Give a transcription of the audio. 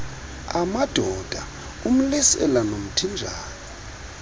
amadoda umlisela nomthinjana